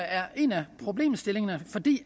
er en af problemstillingerne for det